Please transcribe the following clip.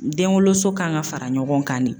Denwoloso kan ka fara ɲɔgɔn kan de.